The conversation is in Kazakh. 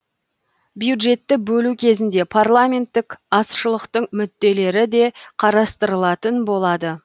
бюджетті бөлу кезінде парламенттік азшылықтың мүдделері де қарастырылатын болады